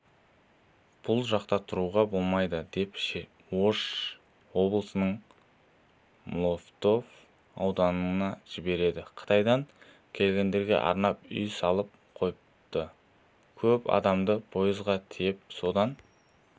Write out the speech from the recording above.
бұл жақта тұруға болмайды деп ош облысының молотов ауданына жіберді қытайдан келгендерге арнап үй салып қойыпты көп адамды пойызға тиеп сонда